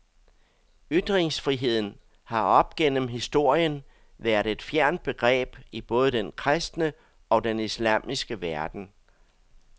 Ytringsfriheden har op gennem historien været et fjernt begreb i både den kristne og den islamiske verden.